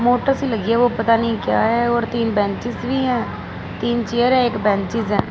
Motors लगे हैं वो पता नहीं क्या है और तीन बेंचेज भी है तीन चेयरे एक बेंचस हैं।